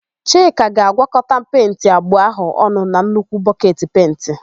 Chika ga-agwọkọta penti abụọ áhụ̀ ọnụ na nnukwu bọketi pentị.